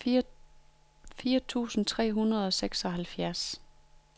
fire tusind tre hundrede og seksoghalvfjerds